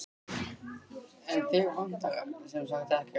En þig vantar sem sagt ekkert?